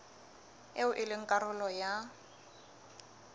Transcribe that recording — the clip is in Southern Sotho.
eo e leng karolo ya